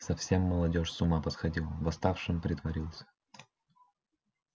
совсем молодёжь с ума посходила восставшим притворился